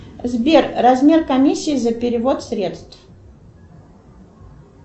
сбер размер комиссии за перевод средств